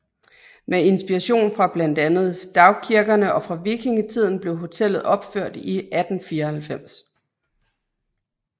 Med inspiration fra blandt andet stavkirkerne og fra vikingetiden blev hotellet opført i 1894